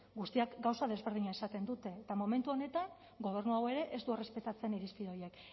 guztiak gauza desberdina esaten dute eta momentu honetan gobernu hau ere ez du errespetatzen irizpide horiek